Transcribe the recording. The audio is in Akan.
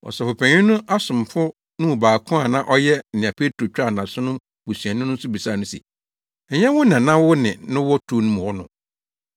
Ɔsɔfopanyin no asomfo no mu baako a na ɔyɛ nea Petro twaa nʼaso no busuani no nso bisaa no se, “Ɛnyɛ wo na na wo ne no wɔ turo no mu hɔ no?”